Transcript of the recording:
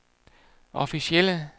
officielle